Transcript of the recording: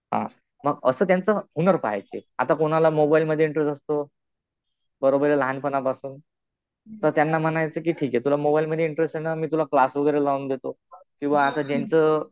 हा. असं त्यांचं हुनर पाहायचं. आता कुणाला मोबाईलमध्ये इंटरेस्ट असतो. बरोबर आहे लहानपणापासुन तर त्यांना म्हणायचं कि ठीक आहे तुला मोबाईलमध्ये इंटरेस्ट आहे ना . मी तुला क्लास वगैरे लावून देतो. किंवा असं त्यांचं